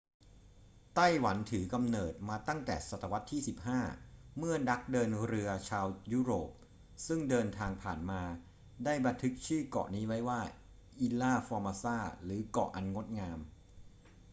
ไต้หวันถือกำเนิดมาตั้งแต่ศตวรรษที่ 15 เมื่อนักเดินเรือชาวยุโรปซึ่งเดินทางผ่านมาได้บันทึกชื่อเกาะนี้ไว้ว่า อิลลา ฟอร์มาซา ilha formosa หรือเกาะอันงดงาม